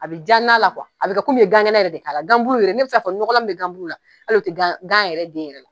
A bɛ jan n'a la a bɛ kɛ komi ye gan kɛnɛ yɛrɛ de k'ala, gan bulu' yɛrɛ ne bɛ se ka fɔ ɲɔgɔnlan min bɛ ganbulu hali o tɛ gan yɛrɛ den yɛrɛ la.